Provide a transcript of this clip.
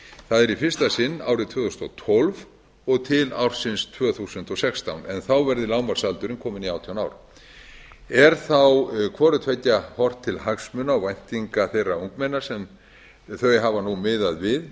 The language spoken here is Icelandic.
það er í fyrsta sinn árið tvö þúsund og tólf og til ársins tvö þúsund og sextán en þá verði lágmarksaldurinn kominn í átján ár er þá hvorutveggja horft til hagsmuna og væntinga þeirra ungmenna sem hafa nú miðað við